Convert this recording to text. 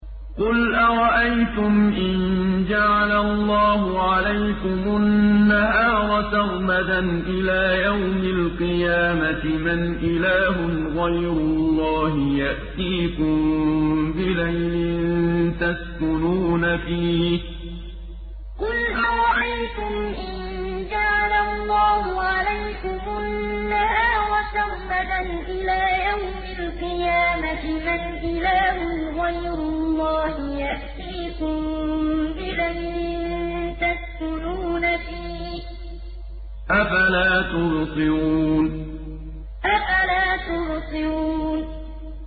قُلْ أَرَأَيْتُمْ إِن جَعَلَ اللَّهُ عَلَيْكُمُ النَّهَارَ سَرْمَدًا إِلَىٰ يَوْمِ الْقِيَامَةِ مَنْ إِلَٰهٌ غَيْرُ اللَّهِ يَأْتِيكُم بِلَيْلٍ تَسْكُنُونَ فِيهِ ۖ أَفَلَا تُبْصِرُونَ قُلْ أَرَأَيْتُمْ إِن جَعَلَ اللَّهُ عَلَيْكُمُ النَّهَارَ سَرْمَدًا إِلَىٰ يَوْمِ الْقِيَامَةِ مَنْ إِلَٰهٌ غَيْرُ اللَّهِ يَأْتِيكُم بِلَيْلٍ تَسْكُنُونَ فِيهِ ۖ أَفَلَا تُبْصِرُونَ